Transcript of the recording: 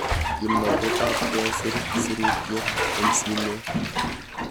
Kimnatet ab kesir sirutet eng' simet